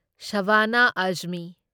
ꯁꯥꯕꯅ ꯑꯓꯃꯤ